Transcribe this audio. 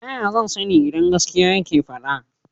taya zan sani idan gaskiya yake fada?